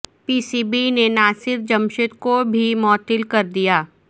پی C B نے ناصر جمشید کو بھی معطل کر دیا